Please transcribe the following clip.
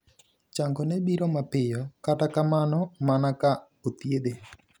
Changone biro mapiyo ,kata kamano, mana ka othiedhe.